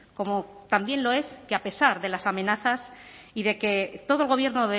como también lo es que a pesar de las amenazas y de que todo el gobierno